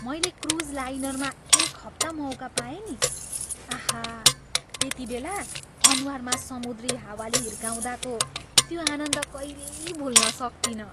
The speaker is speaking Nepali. मैले क्रुज लाइनरमा एक हप्ता मौका पाएँ नि। आहा! त्यतिबेला अनुहारमा समुद्री हावाले हिर्काउँदाको त्यो आनन्द कहिल्यै भुल्न सक्तिनँ।